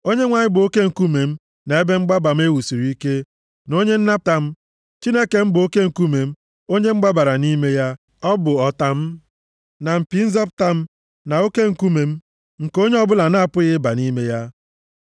Onyenwe anyị bụ oke nkume m, na ebe mgbaba m e wusiri ike, na onye nnapụta m. Chineke m bụ oke nkume m, onye m gbabara nʼime ya. Ọ bụ ọta m, na mpi nzọpụta m, na oke nkume m nke onye ọbụla na-apụghị ịba nʼime ya.